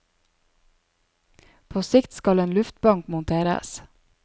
På sikt skal en luftbank monteres.